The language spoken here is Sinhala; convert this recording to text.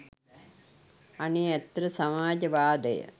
අනේ ඇත්තට සමාජ වාදය